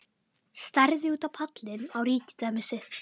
Starði út á pallinn, á ríkidæmi sitt.